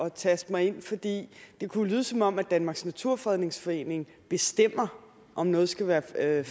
at taste mig ind for det kunne jo lyde som om danmarks naturfredningsforening bestemmer om noget skal være fredet